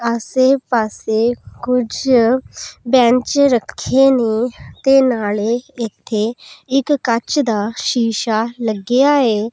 ਆਸੇ ਪਾੱਸੇ ਕੁਛ ਬੈਂਚ ਰੱਖੀਆਂ ਨੇਂ ਤੇ ਨਾਲੇ ਏੱਥੇ ਇੱਕ ਕੰਚ ਦਾ ਸ਼ੀਸ਼ਾ ਲੱਗਿਆ ਹੈ।